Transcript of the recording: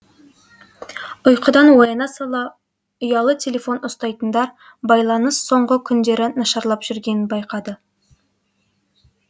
ұйқыдан ояна сала ұялы телефон ұстайтындар байланыс соңғы күндері нашарлап жүргенін байқады